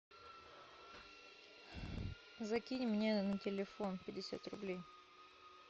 закинь мне на телефон пятьдесят рублей